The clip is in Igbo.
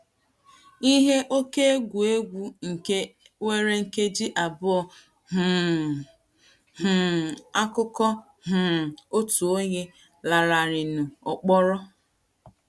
IHE OKÉ EGWU EGWU NKE WERE NKEJI ABỤỌ um — um AKỤKỌ um OTU ONYE LANARỊRỊNỤ KỌRỌ